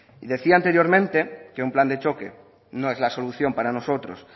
y decía anteriormente que un plan de choque no es la solución para nosotros